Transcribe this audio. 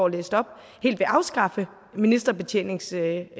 læste op helt vil afskaffe ministerbetjeningsreglen